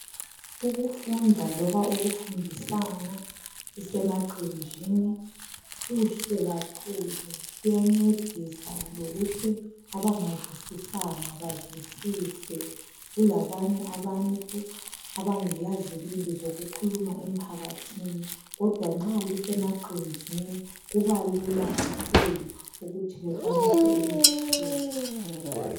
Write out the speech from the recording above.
Ukufunda loba ukufundisana lisemaqenjini kuhle kakhulu kuyancedisa lokuthi abangazeisisanga bazwisise kulabanye abantu abangela zibindi zokukhuluma emphakathini kodwa nxa lisemaqenjini kubalula kakhulu ukuthi bekwanise ukuzwisisa